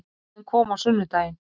Bróðir minn kom á sunnudaginn